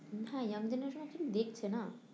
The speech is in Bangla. হ্যাঁ young genaretion actually দেখছে না